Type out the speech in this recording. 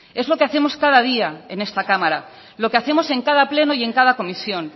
es lo que hacemos cada día en esta cámara lo que hacemos en cada pleno y en cada comisión